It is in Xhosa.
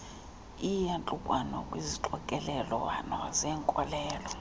iiyantlukwano kwizixokelelwano zenkolelo